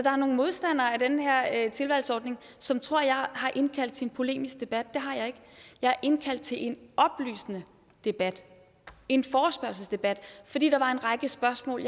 er nogle modstandere af den her tilvalgsordning som tror at jeg har indkaldt til en polemisk debat det har jeg ikke jeg har indkaldt til en oplysende debat en forespørgselsdebat fordi der var en række spørgsmål